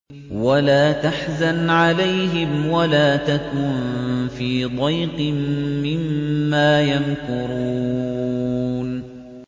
وَلَا تَحْزَنْ عَلَيْهِمْ وَلَا تَكُن فِي ضَيْقٍ مِّمَّا يَمْكُرُونَ